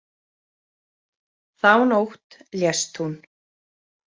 Þá nótt lést hún.